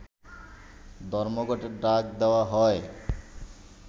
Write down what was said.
ধর্মঘটের ডাক দেয়া হয়